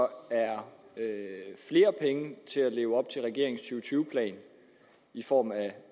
at der er flere penge til at kunne leve op til regeringens to tyve plan i form af